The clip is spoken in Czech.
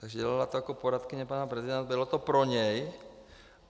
Takže to dělala jako poradkyně pana prezidenta, bylo to pro něj.